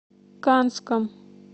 канском